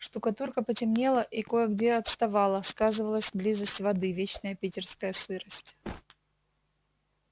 штукатурка потемнела и кое-где отставала сказывалась близость воды вечная питерская сырость